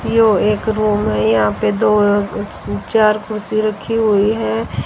यो एक रूम है यहां पे दो अं च चार कुर्सी रखी हुई है।